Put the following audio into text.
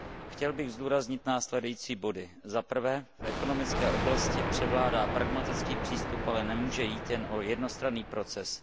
Chtěl bych zdůraznit následující body zaprvé v ekonomické oblasti převládá pragmatický přístup, ale nemůže jít jen o jednostranný proces.